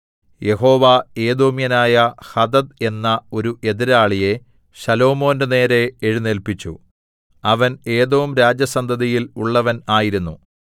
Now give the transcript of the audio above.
യഹോവ ഏദോമ്യനായ ഹദദ് എന്ന ഒരു എതിരാളിയെ ശലോമോന്റെ നേരെ എഴുന്നേല്പിച്ചു അവൻ ഏദോംരാജസന്തതിയിൽ ഉള്ളവൻ ആയിരുന്നു